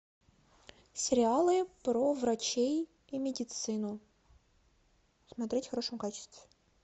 сериалы про врачей и медицину смотреть в хорошем качестве